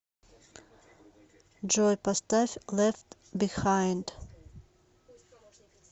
джой поставь лефт бихайнд